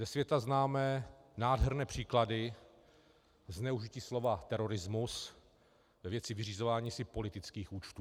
Ze světa známe nádherné příklady zneužití slova terorismus ve věci vyřizování si politických účtů.